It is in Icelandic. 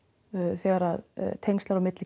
þegar tengsl eru á milli